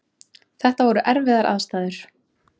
Þetta voru erfiðar aðstæður